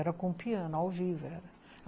Era com piano, ao vivo, era.